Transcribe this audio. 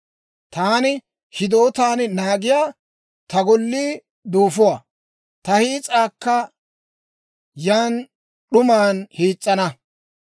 Taani hidootaan naagiyaa ta gollii duufuwaa; ta hiis'aakka yaan d'uman hiis's'ana.